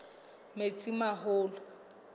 metsimaholo